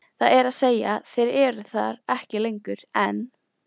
Það er að segja þeir eru þar ekki lengur, en.